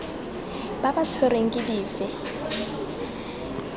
ba ba tshwerweng ke dife